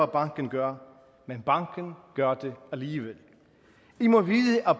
banken gør men banken gør det alligevel i må vide at